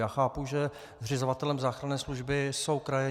Já chápu, že zřizovatelem záchranné služby jsou kraje.